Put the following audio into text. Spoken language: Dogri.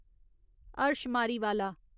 हर्ष मारीवाला